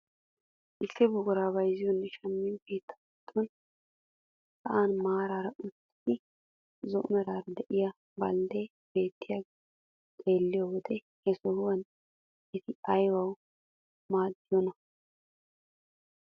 Issi buqurata bayzziyoonne shammiyoo keettaa giddon sa'an maarara uttida zo'o meraara de'iyaa balddeti beetttiyaageta xeelliyoo wode he sohuwaan eti aybawu maaddiyoonaa?